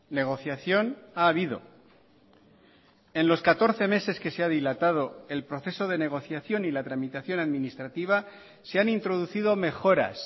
negociación ha habido en los catorce meses que se ha dilatado el proceso de negociación y la tramitación administrativa se han introducido mejoras